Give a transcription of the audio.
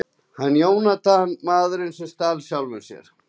Hans Jónatan: Maðurinn sem stal sjálfum sér.